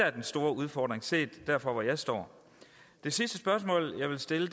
er den store udfordring set derfra hvor jeg står det sidste spørgsmål jeg vil stille